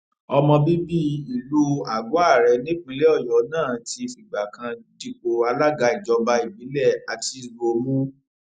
ọmọ bíbí ìlú àgọare nípínlẹ ọyọ náà ti fìgbà kan dípò alága ìjọba ìbílẹ àtiṣbọ mú